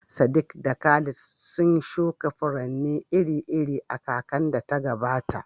Sadiq da Khalid sun shuka furanni iri-iri a kakar da ta gabata.